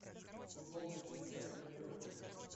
футбол манчестера и ливерпуля